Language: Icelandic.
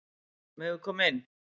Megum við koma inn?